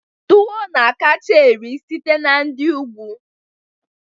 Tuwo na-akacha eri site na ndi ugwu